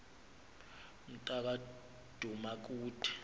mnta ka dumakude